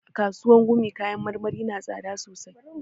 A kasuwan gumi kayan marmari na tsada sosai